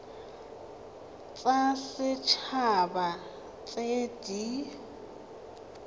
tsa set haba tse di